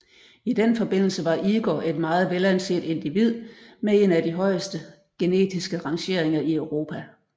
I den forbindelse var Igor et meget velanset individ med en af de højeste genetiske rangeringer i Europa